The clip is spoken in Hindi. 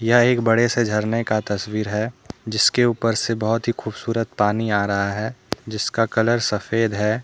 यह एक बड़े से झरने का तस्वीर है जिसके ऊपर से बहुत ही खूबसूरत पानी आ रहा है जिसका कलर सफेद है ।